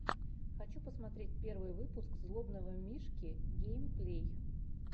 хочу посмотреть первый выпуск злобного мишки геймплей